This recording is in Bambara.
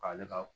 K'ale ka